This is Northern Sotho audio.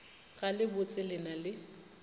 ga le botsele na le